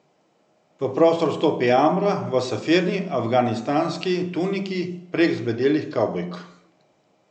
V prostor vstopi Amra v safirni afganistanski tuniki prek zbledelih kavbojk.